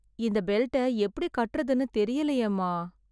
இந்த பெல்ட்டை எப்படி கட்டறதுன்னு தெரியலயேமா...